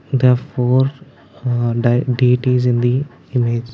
the four in the image.